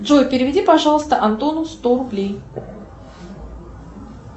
джой переведи пожалуйста антону сто рублей